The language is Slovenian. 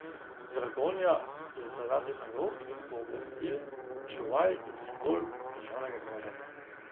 Dragonja je zaradi nalog in pooblastil čuvaj in simbol državnega premoženja.